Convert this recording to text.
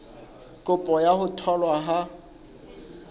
kopo ya ho tholwa ha